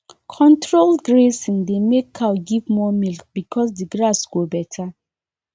controlled grazing dey make cow give more milk because the grass go better